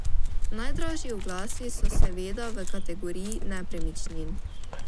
Najdražji oglasi so seveda v kategoriji nepremičnin.